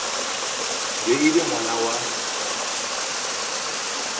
be e le ngwana wa